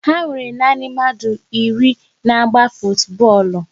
Ha nwere na nanị mmadụ iri na-agba futubọọlụ